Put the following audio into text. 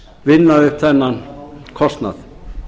vinna upp þennan kostnað